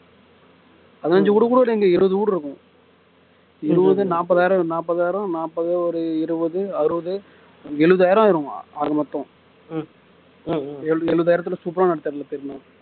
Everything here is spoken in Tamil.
பதினைஞ்சு வீடு கூட கிடையாது இங்க இருபது வீடு இருக்கும் இருபது நாப்பதாயிரம் ஆயிரம் ஒரு நாப்பதாயிரம் நாப்பது ஒரு இருபது அறுபது எழுவதாயிரம் ஆயிடும் ஆக மொத்தம் எழுவதாயிரத்தில் சூப்பரா நடத்து~ நடத்திடலாம்